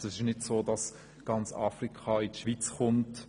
Es ist nicht so, dass ganz Afrika in die Schweiz kommt.